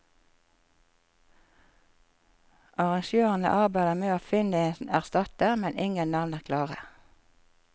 Arrangørene arbeider med å finne en erstatter, men ingen navn er klare.